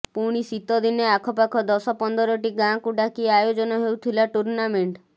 ପୁଣି ଶୀତ ଦିନେ ଆଖପାଖ ଦଶ ପନ୍ଦରଟି ଗାଁକୁ ଡାକି ଆୟୋଜନ ହେଉଥିଲା ଟୁର୍ଣ୍ଣାମେଂଟ